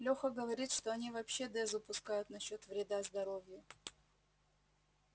леха говорит что они вообще дезу пускают насчёт вреда здоровью